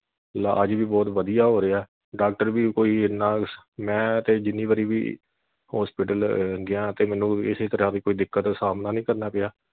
ਇਲਾਜ ਵੀ ਬਹੁਤ ਵਧੀਆ ਹੋ ਰਿਹਾ doctor ਵੀ ਕੋਈ ਇਨ੍ਹਾਂ ਮੈਂ ਤੇ ਜਿੰਨੀ ਵਾਰੀ ਵੀ hospital ਗਿਆ ਤੇ ਮੈਨੂੰ ਕਿਸੇ ਵੀ ਤਰ੍ਹਾਂ ਦੀ ਕੋਈ ਦਿੱਕਤ ਦਾ ਸਾਹਮਣਾ ਨਹੀਂ ਕਰਨਾ ਪਿਆ।